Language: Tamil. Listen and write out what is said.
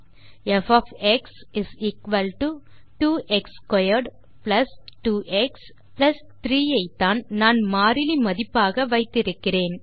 ப் 2 x2 2 எக்ஸ் 3 ஐ த்தான் நான் மாறிலி மதிப்பாக வைத்திருக்கிறேன்